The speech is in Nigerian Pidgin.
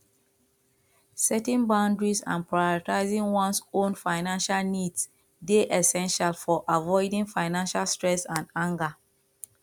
setting boundaries and prioritizing ones own financial needs dey essential for avoiding financial stress and anger